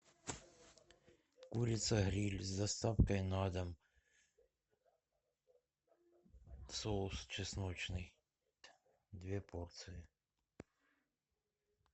курица гриль с доставкой на дом соус чесночный две порции